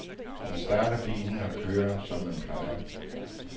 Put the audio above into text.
Man starter bilen og kører, som man plejer.